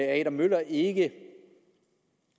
adam møller ikke